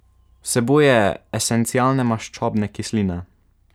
Vsebuje esencialne maščobne kisline.